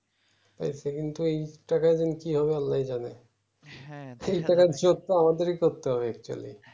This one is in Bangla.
এই টাকায় কিযে হবে আল্লাই জানে এই টাকার ইজ্জত আমাদেরই করতে হবে actually